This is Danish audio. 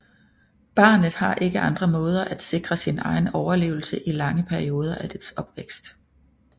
Barnet har ikke andre måder at sikre sin egen overlevelse i lange perioder af dets opvækst